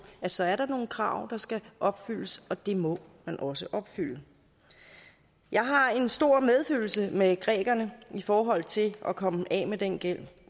at så er der nogle krav der skal opfyldes og dem må man også opfylde jeg har en stor medfølelse med grækerne i forhold til at komme af med den gæld